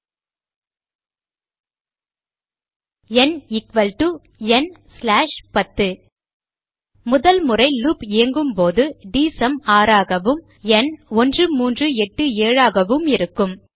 ந் ந் 10 முதல் முறை லூப் இயங்கும் போது டிஎஸ்யூஎம் 6 ஆகவும் ந் 1387 ஆகவும் இருக்கவும்